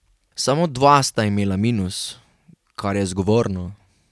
Samo dva sta imela minus, kar je zgovorno.